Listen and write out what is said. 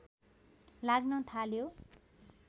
लाग्न थाल्यो